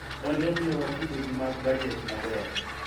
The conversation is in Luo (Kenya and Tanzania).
nonro miyowa kido gi mag bajet maber